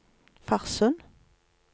Farsund